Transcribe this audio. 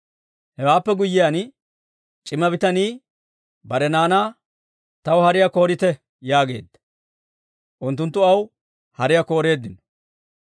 Hewaappe guyyiyaan c'ima bitanii bare naanaa, «Taw hariyaa koorite» yaageedda. Unttunttu aw hariyaa kooreeddino;